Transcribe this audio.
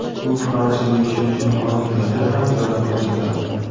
U Fransiyada yashovchi muhojirlarga ham yordam ko‘rsatadi.